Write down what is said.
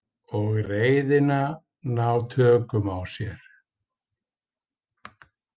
Og reiðina ná tökum á sér.